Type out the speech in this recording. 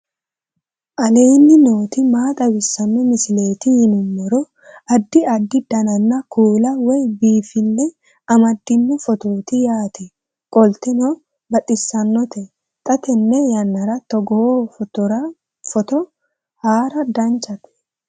aleenni nooti maa xawisanno misileeti yinummoro addi addi dananna kuula woy biinfille amaddino footooti yaate qoltenno baxissannote xa tenne yannanni togoo footo haara danchate